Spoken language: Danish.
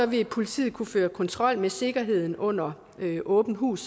vil politiet kunne føre kontrol med sikkerheden under åbent hus